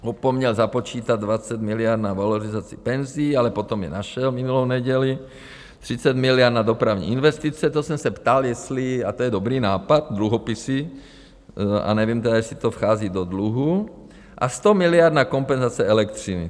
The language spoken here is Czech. Opomněl započítat 20 miliard na valorizaci penzí, ale potom je našel minulou neděli, 30 miliard na dopravní investice - to jsem se ptal, jestli, a to je dobrý nápad, dluhopisy, a nevím tedy, jestli to vchází do dluhu, a 100 miliard na kompenzace elektřiny.